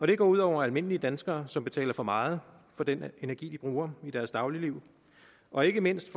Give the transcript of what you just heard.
det går ud over almindelige danskere som betaler for meget for den energi de bruger i deres dagligliv og ikke mindst